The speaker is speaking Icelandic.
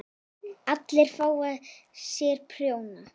ALLIR AÐ FÁ SÉR PRJÓNA!